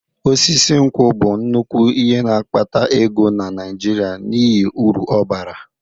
Osisi nkwụ bụ nnukwu ihe na-akpata ego na Naijiria n'ihi uru ọ bara.